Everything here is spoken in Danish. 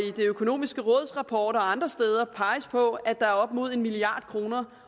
det økonomiske råds rapport og andre steder peges på at der er op imod en milliard kroner